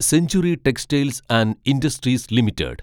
century textiles and industries limited